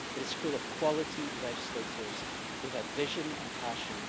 It is full of high quality legislators who had vision and passion.